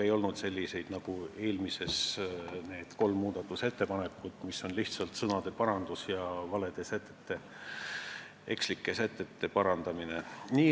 Ei olnud selliseid parandusi, nagu olid eelmise eelnõu puhul kolm muudatusettepanekut, mis olid lihtsalt sõnade ja ekslike sätete parandamine.